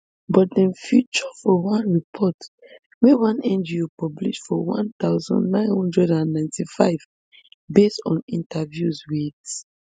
but dem feature for one report wey one ngo publish for one thousand, nine hundred and ninety-five based on interviews wit